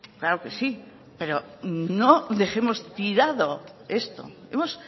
claro que sí pero no dejemos tirado esto hemos